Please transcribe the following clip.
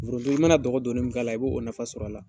Forondo i mana dɔgɔ don ni min k'ala i b'o nafa sɔrɔ a la